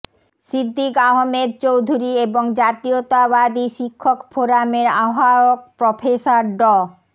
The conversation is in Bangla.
সিদ্দিক আহমেদ চৌধুরী এবং জাতীয়তাবাদী শিক্ষক ফোরামের আহবায়ক প্রফেসর ড